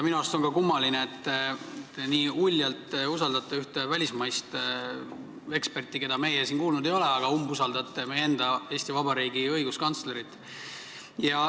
Minu arust on ka kummaline, et te nii uljalt usaldate ühte välismaist eksperti, keda meie siin kuulnud ei ole, aga umbusaldate meie enda Eesti Vabariigi õiguskantslerit.